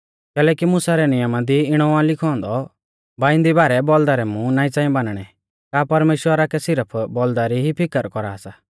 कैलैकि मुसा रै नियमा दी इणौ आ लिखौ औन्दौ बाइंदी बारै बौल़दा रै मुं नाईं च़ांई बानणै का परमेश्‍वरा कै सिरफ बौल़दा री ई फिकर कौरा सा